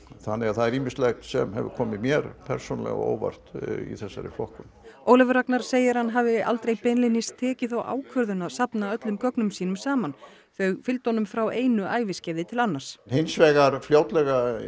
þannig að það er ýmislegt sem hefur komið mér persónulega á óvart í þessari flokkun Ólafur Ragnar segir að hann hafi aldrei beinlínis tekið þá ákvörðun að safna öllum gögnum sínum saman þau fylgdu honum frá einu æviskeiði til annars hins vegar fljótlega